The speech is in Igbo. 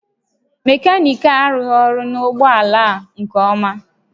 Mekaniki a arụghị ọrụ na ụgbọ ala a nke ọma